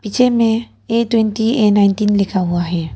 पीछे में A twenty A nineteen लिखा हुआ है।